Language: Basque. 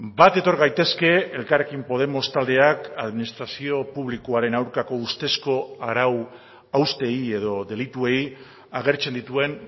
bat etor gaitezke elkarrekin podemos taldeak administrazio publikoaren aurkako ustezko arau hausteei edo delituei agertzen dituen